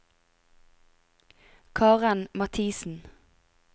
Karen Mathiesen